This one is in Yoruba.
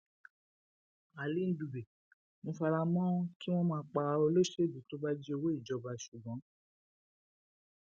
ali ndube mo fara mọ kí wọn máa pa olóṣèlú tó bá jí owó ìjọba ṣùgbọn